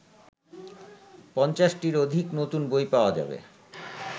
৫০টির অধিক নতুন বই পাওয়া যাবে